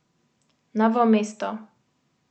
Novo mesto.